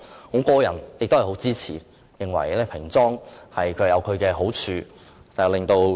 我個人對此深表支持，認為平裝亦有其好處。